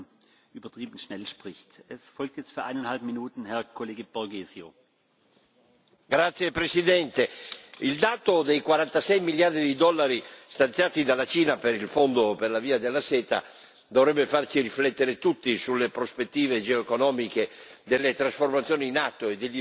Signor Presidente, onorevoli colleghi, il dato dei 46 miliardi di dollari stanziati dalla Cina per il fondo per la Via della seta dovrebbe farci riflettere tutti sulle prospettive geo economiche delle trasformazioni in atto e degli sviluppi